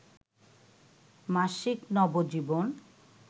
মাসিক নবজীবন